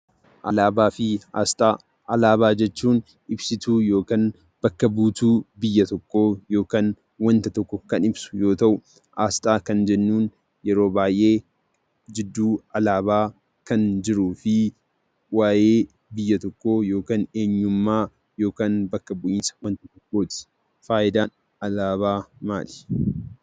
Alaabaa jechuun ibsituu yookiin bakka buutuu biyya tokkoo yookiin wanta tokko kan ibsu yoo ta'u, asxaa kan jennuun yeroo baay'ee jidduu alaabaa kan jiruu fi waa'ee biyya tokkoo yookiin eenyummaa bakka bu'iinsa wanta tokkooti. Faayidaan alaabaa maali?